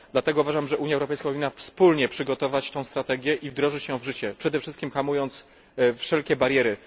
Dlatego uważam, że Unia Europejska powinna wspólnie przygotować tę strategię i wdrożyć ją w życie, przede wszystkim usuwając wszelkie bariery.